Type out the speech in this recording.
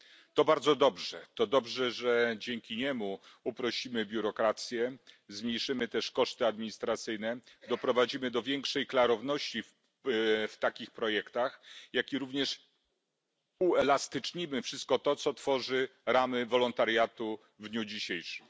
To bardzo dobrze to dobrze, że dzięki niemu uprościmy biurokrację, zmniejszymy też koszty administracyjne, doprowadzimy do większej klarowności w takich projektach, jak i również uelastycznimy wszystko to, co tworzy ramy wolontariatu w dniu dzisiejszym.